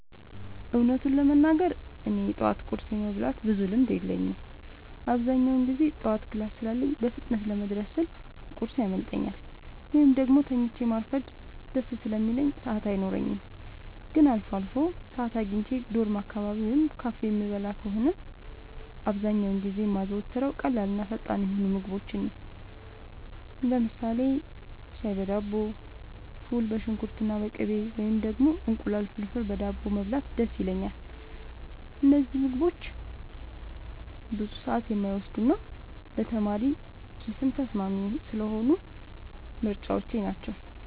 እውነቱን ለመናገር እኔ የጠዋት ቁርስ የመብላት ብዙም ልምድ የለኝም። አብዛኛውን ጊዜ ጠዋት ክላስ ስላለኝ በፍጥነት ለመድረስ ስል ቁርስ ያመልጠኛል፤ ወይም ደግሞ ተኝቶ ማርፈድ ደስ ስለሚለኝ ሰዓት አይኖረኝም። ግን አልፎ አልፎ ሰዓት አግኝቼ ዶርም አካባቢ ወይም ካፌ የምበላ ከሆነ፣ አብዛኛውን ጊዜ የማዘወትረው ቀላልና ፈጣን የሆኑ ምግቦችን ነው። ለምሳሌ ሻይ በዳቦ፣ ፉል በሽንኩርትና በቅቤ፣ ወይም ደግሞ እንቁላል ፍርፍር በዳቦ መብላት ደስ ይለኛል። እነዚህ ምግቦች ብዙ ሰዓት የማይወስዱና ለተማሪ ኪስም ተስማሚ ስለሆኑ ምርጫዎቼ ናቸው።